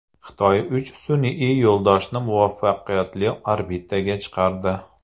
Xitoy uch sun’iy yo‘ldoshni muvaffaqiyatli orbitaga chiqardi.